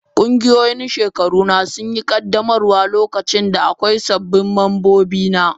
Ƙungiyoyin shekaru na suna yin ƙaddamarwa lokacin da akwai sababbin mambobi.